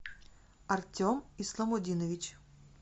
артем исламудинович